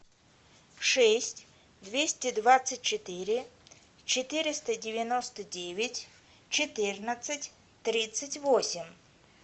шесть двести двадцать четыре четыреста девяносто девять четырнадцать тридцать восемь